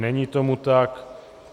Není tomu tak.